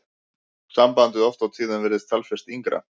Sambandið oft á tíðum virðist talsvert yngra.